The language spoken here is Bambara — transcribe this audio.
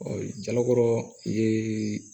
jalakɔrɔ ye